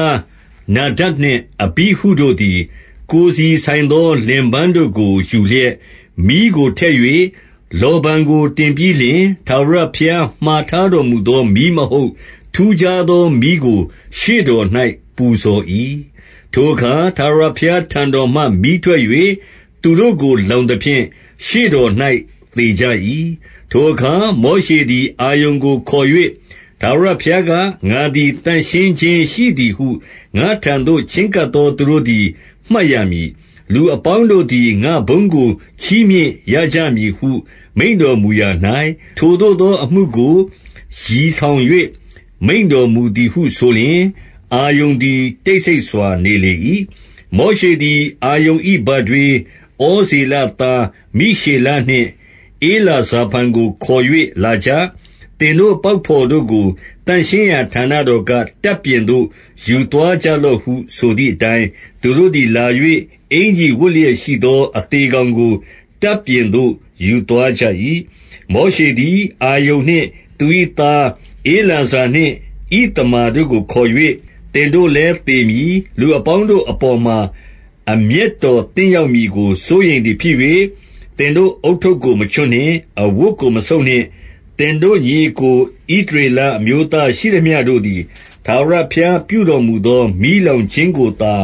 ားနာဒပ်နှင့် အတိဟုတို့သည်၊ ကိုယ်စီဆိုင်သော လင်ပန်းတို့ကို ယူလျက်၊ မီးကိုထည့်၍ လောဗန်ကို တင်ပြီးလျှင်၊ ထာဝရဘုရား မှာထားတော်မူသော မီးမဟုတ်၊ ထူးခြားသော မီးကို ရှေ့တော်၌ ပူဇော်၏။ 2 ထိုအခါ ထာဝရဘုရားထံတော်မှ မီးထွက်၍၊ သူတို့ကို လောင်သဖြင့် ရှေ့တော်၌ သေကြ၏။ 3 ထိုအခါ၊ မောရှေသည် အာရုန်ကိုခေါ်၍၊ ထာဝရဘုရားက၊ ငါသည် သန့်ရှင်းခြင်းရှိသည်ဟု ငါ့ထံ သို့ ချဉ်းကပ်သူတို့သည် မှတ်ရမည်။ လူအပေါင်းတို့သည် ငါ့ဘုန်းကို ချီးမြှင့်ရကြမည်ဟု မိန့်တော်မူ ရာ၌၊ ထိုသို့သော အမှုကို ရည်ဆောင်၍ မိန့်တော်မူသည်ဟု ဆိုလျှင်၊ အာရုန်သည် တိတ်ဆိတ်စွာ နေလေ၏။ 4 မောရှေသည် အာရုန်၏ ဘထွေး ဩဇေလသားမိရှေလနှင့် ဧလဇာဖန်ကိုခေါ်၍၊ လာကြ။ သင်တို့ ပေါက်ဘော်တို့ကို သန့်ရှင်းရာ ဌာနတော်က၊ တပ်ပြင်သို့ ယူသွားကြလော့ဟု ဆိုသည်အတိုင်း၊ 5 သူတို့သည် လာ၍ အင်္ကျီဝတ်လျက်ရှိသော အသေကောင်ကို တပ်ပြင်သို့ယူသွားကြ၏။ 6 မောရှေသည် အာရုန်နှင့် သူ၏သားဧလာဇာနှင့် ဣသမာတို့ကိုခေါ်၍၊ သင်တိ့လည်းသေမည်။ လူအပေါင်းတို့အပေါ်မှာ အမျက်တော်သင့်ရောက်မည်ကို စိုးရိမ်သည်ဖြစ်၍၊ သင်တို့ ဦးထုပ်ကို မချွတ်နှင့်။ အဝတ်ကို မဆုတ်နှင့်။ သင်တို့ ညီအစ်ကို ဣသရေလ အမျိုးသားရှိသမျှတို့သည် ထာဝရ ဘုရားပြုတော်မူသော မီးလောင်ခြင်းကိုသာ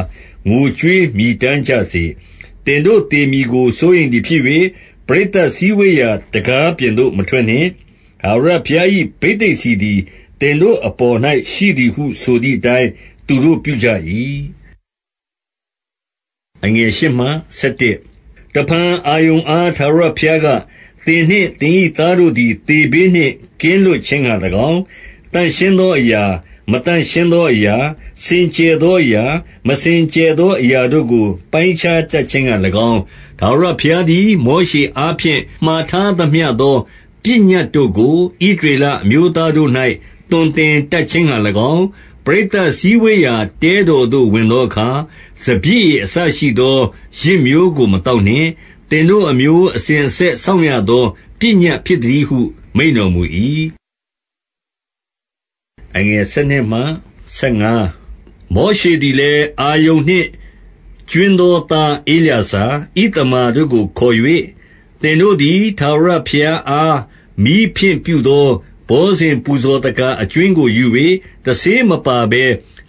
ငိုကြွေးမြည်တမ်းကြစေ။ 7 သင်တို့သေမည်ကိုစိုးရိမ်သည်ဖြစ်၍၊ ပရိသတ်စည်းဝေးရာ တံခါးပြင်သို့ မထွက်နှင့်။ ထာဝရဘုရား၏ ဘိသိက်ဆီသည် သင်တို့အပေါ်၌ရှိသည်ဟု ဆိုသည်အတိုင်း သူတို့ပြုကြ၏ 8 တဖန် အာရုန်အား ထာဝရဘုရားက၊- 9 သင်နှင့်သင်၏ သားတို့သည် သေဘေးနှင့် ကင်းလွတ်ခြင်းငှါ၎င်း၊ သန့်ရှင်းသောအရာ၊ မသန့်ရှင်း သောအရာ၊ စင်ကြယ်သောအရာ၊ 10 မစင်ကြယ်သောအရာတို့ကို ပိုင်းခြားတတ်ခြင်းငှါ၎င်း၊ ထာဝရ ဘုရားသည် မောရှေအားဖြင့် မှာထားသမျှသော ပညတ်တို့ကို ဣသရေလ အမျိုးသားတို့၌ သွန် သင်တတ်ခြင်းငှါ၎င်း၊ ပရိသတ်စည်းဝေးရာ တဲတော်သို့ ဝင်သောအခါ၊ စပျစ်ရည်အစရှိသော ယစ် မျိုးကို မသောက်နှင့်။ 11 သင်တို့ အမျိုးအစဉ်အဆက် စောင့်ရသော ပညတ်ဖြစ်သတည်းဟု မိန့်တော်မူ၏။ 12 မောရှေသည်လည်း၊ အာရုန်နှင့်ကြွင်းသော သားဧလာဇာ၊ ဣသမာတို့ကိုခေါ်၍၊ သင်တို့သည် ထာဝရ ဘုရားအား မီးဖြင့်ပြုသော ဘောဇဉ်ပူဇော်သက္ကာ အကြွင်းကိုယူ၍ တဆေးမပါဘဲ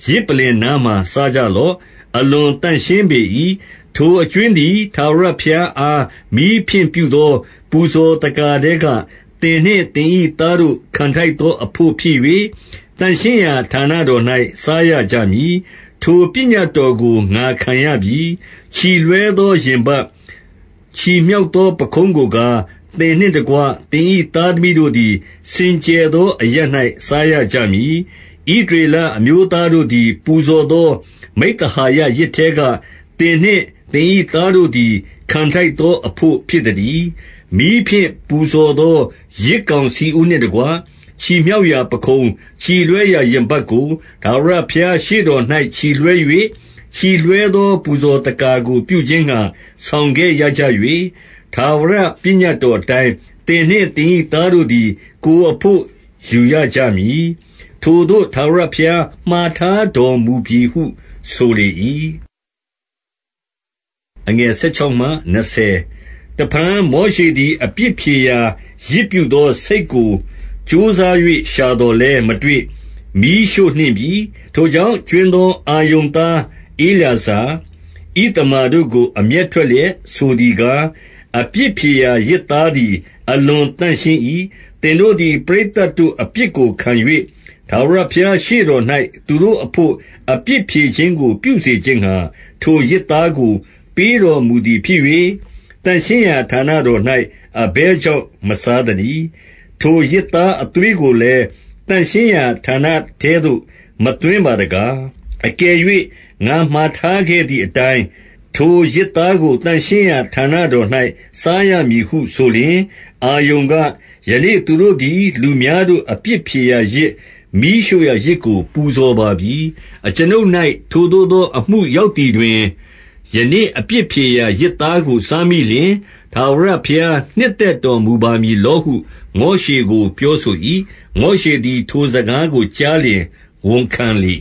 ယဇ်ပလ္လင်နားမှာ စားကြလော့။ အလွန်သန့်ရှင်းပေ၏။ 13 ထိုအကြွင်းသည် ထာဝရဘုရားအား မီးဖြင့်ပြုသော ပူဇော်သက္ကာထဲက သင်နှင့်သင်၏ သားတို့ ခံထိုက်သောအဘို့ ဖြစ်၍ သန့်ရှင်းရာဌာနတော်၌ စားရကြမည်။ ထိုပညတ်တော်ကို ငါခံရပြီ။ 14 ချီလွှဲသောရင်ပတ်၊ ချီမြှောက်သော ပခုံးကိုကား၊ သင်နှင့်တကွသင်၏ သားသမီးတို့သည် စင်ကြယ် သောအရပ်၌ စားရကြမည်။ ဣသရေလအမျိုးသားတို့သည် ပူဇော်သော မိဿဟာယယဇ်ထဲက၊ သင်နှင့်သင်၏သားတို့သည် ခံထိုက်သောအဘို့ ဖြစ်သတည်း။ 15 မီးဖြင့် ပူဇော်သော ယဇ်ကောင်ဆီဥနှင့်တကွ၊ ချီမြှောက်ရာပခုံး၊ ချီလွှဲရာရင်ပတ်ကို ထာဝရဘုရား ရှေ့တော်၌ ချီလွှဲ၍၊ ချီလွှဲသော ပူဇော်သက္ကာကို ပြုခြင်းငှါ ဆောင်ခဲ့ရကြ၍၊ ထာဝရ ပညတ်တော် အတိုင်း၊ သင်နှင့်သင်၏ သားတို့သည် ကိုယ်အဘို့ယူရကြမည်။ ထိုသို့ ထာဝရဘုရား မှာထားတော်မူပြီ ဟုဆိုလေ၏။ 16 တဖန် မောရှေသည် အပြစ်ဖြေရာ ယဇ်ပြုသော ဆိတ်ကို ကြိုးစား၍ ရှာသော်လည်း မတွေ့။ မီးရှို့ နှင့်ပြီ။ ထိုကြောင့် ကြွင်းသော အာရုန်သား ဧလာဇာ၊ ဣသမာတို့ကို အမျက်ထွက်လျက် ဆိုသည်ကား၊ 17 အပြစ်ဖြေရာယဇ်သားသည် အလွန်သန့်ရှင်း၏။ သင်တို့သည် ပရိသတ်တို့ အပြစ်ကိုခံ၍၊ ထာဝရ ဘုရားရှေ့တော်၌ သူတို့အဘို့ အပြစ်ဖြေခြင်းကို ပြုစေခြင်းငှါ ထိုယဇ်သားကို ပေးတော်မူသည်ဖြစ်၍၊ သန့်ရှင်းရာ ဌာနတော်၌ အဘယ်ကြောင့် မစားသနည်း။ 18 ထိုယဇ်သား အသွေးကိုလည်း သန့်ရှင်းရာဌာနထဲသို့ မသွင်းပါတကား။ အကယ်၍ ငါမှာထားခဲ့သည် အတိုင်း၊ ထိုယဇ်သားကို သန့်ရှင်းရာဌာနတော်၌ စားရမည်ဟုဆိုလျှင်၊- 19 အာရုန်က၊ ယနေ့ သူတို့သည် လူများတို့ အပြစ်ဖြေရာယဇ်၊ မီးရှို့ရာယဇ်ကို ပူဇော်ပါပြီ။ အကျွန်ုပ် ၌ ထိုသို့သော အမှုရောက်သည်တွင် ၊ ယနေ့အပြစ်ဖြေရာ ယဇ်သားကို စားမိလျှင်၊ ထာဝရဘုရား နှစ်သက်တော်မူပါမည်လောဟု မောရှေကို ပြောဆို၏။ 20 မောရှေသည် ထိုစကားကို ကြားလျှင် ဝန်ခံလေ